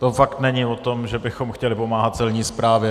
To fakt není o tom, že bychom chtěli pomáhat Celní správě.